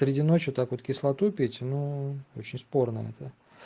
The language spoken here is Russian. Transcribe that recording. среди ночью так вот кислоту пить ну очень спорно это